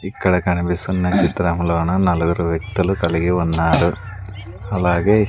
ఇక్కడ కనిపిస్తున్న చిత్రములోన నలుగురు వ్యక్తులు కలిగి ఉన్నారు అలాగే--